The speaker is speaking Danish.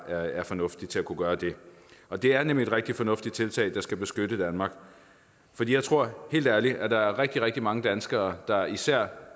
er fornuftig til at kunne gøre det og det er nemlig et rigtig fornuftigt tiltag der skal beskytte danmark for jeg tror helt ærligt at der er rigtig rigtig mange danskere der især